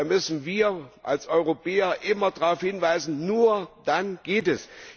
Nein, da müssen wir als Europäer immer darauf hinweisen, nur dann geht es.